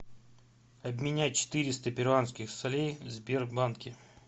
обменять четыреста перуанских солей в сбербанке